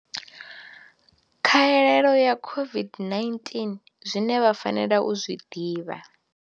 Khaelo ya COVID-19, Zwine vha fanela u zwi ḓivha.